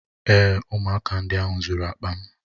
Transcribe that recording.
Èé, ụmụaka ndị ahụ zuru akpa m.